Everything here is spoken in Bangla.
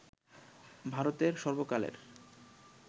ভারতের সর্বকালের